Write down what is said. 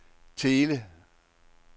Thele